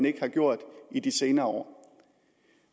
ikke har gjort i de senere år